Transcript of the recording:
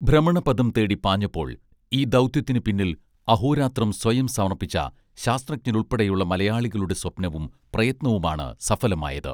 ഭ്രമണപഥം തേടി പാഞ്ഞപ്പോൾ ഈ ദൗത്യത്തിനു പിന്നിൽ അഹോരാത്രം സ്വയം സമർപ്പിച്ച ശാസ്ത്രജ്ഞരുൾപ്പെടെയുള്ള മലയാളികളുടെ സ്വപ്നവും പ്രയത്നവുമാണ് സഫലമായത്